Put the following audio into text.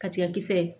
Ka tigɛ kisɛ